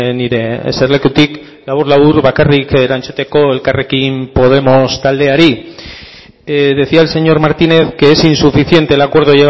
nire eserlekutik labur labur bakarrik erantzuteko elkarrekin podemos taldeari decía el señor martínez que es insuficiente el acuerdo